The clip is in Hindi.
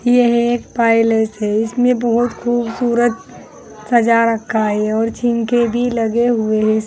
यह एक पैलेस है इसमें बहुत खूबसूरत सजा रखा है और झीनके भी लगे हुए हैं।